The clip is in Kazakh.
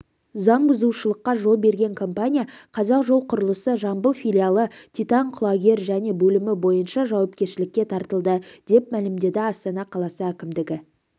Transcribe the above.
заң бұзушылыққа жол берген компания қазақжолқұрылысы жамбыл филиалы титан құлагер және бөлімі бойынша жауапкершілікке тартылды деп мәлімдеді астана қаласы әкімдігі